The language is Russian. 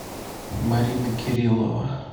марина кириллова